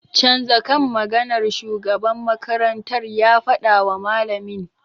Canza kan maganar!' shugaban makarantar ya fadawa malamin.